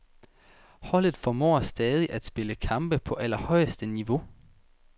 Holdet formår stadig at spille kampe på allerhøjeste niveau.